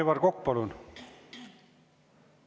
Aivar Kokk, palun!